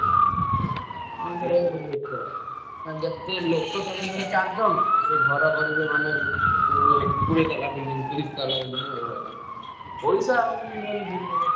ଯେତେ ଲୋକ ତମେ ଧର ଚାରିଜଣ ସେ ଘର କରିବେ ମାନେ ଉଁ କୋଡିଏ ତାଲା building ତିରିଶି ତାଲା building ଏଇଭଳିଆ ତାଙ୍କର ସବୁ ପଇସା ହଉଛି main ।